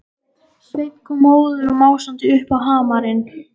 Sveinn kom móður og másandi upp á hamarinn.